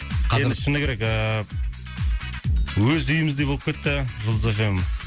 қазір шыны керек ыыы өз үйіміздей болып кетті жұлдыз эф эм